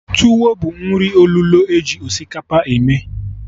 Tuwo bụ nri olulo eji osikapa eme